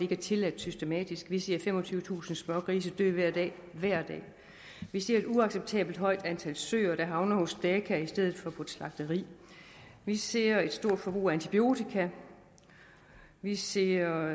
er tilladt systematisk vi ser femogtyvetusind smågrise dø hver dag hver dag vi ser et uacceptabelt højt antal søer der havner hos daka i stedet for på et slagteri vi ser et stort forbrug af antibiotika vi ser